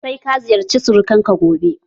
Sai ka ziyarce surukan ka gobe!